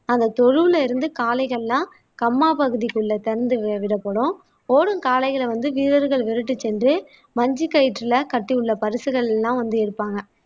அந்த தொழுவுல இருந்து காளைகள்லாம் கம்மா பகுதிக்குள்ள திறந்து வி விடப்படும் ஓடும் காளைகளை வந்து வீரர்கள் விரட்டிச் சென்று மஞ்சு கயிற்றிலே கட்டியுள்ள பரிசுகள் எல்லாம் வந்து எடுப்பாங்க